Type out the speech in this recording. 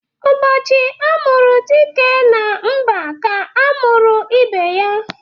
Ụbọchị a mụrụ dike na mba ka a mụrụ ibe ya